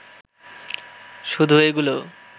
শুধু এগুলো